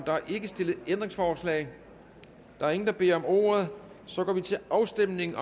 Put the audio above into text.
er ikke stillet ændringsforslag der er ingen der beder om ordet så går vi til afstemning